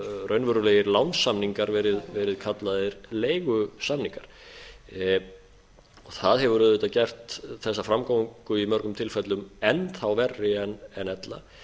raunverulegir lánssamningar verið kallaðir leigusamningar það hefur auðvitað gert þessa framgöngu í mörgum tilfellum enn þá verri en ella